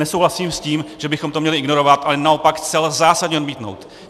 Nesouhlasím s tím, že bychom to měli ignorovat, ale naopak zcela zásadně odmítnout.